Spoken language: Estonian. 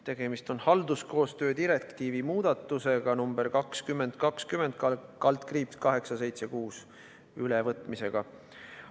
Tegemist on halduskoostöö direktiivi muudatuse ülevõtmisega.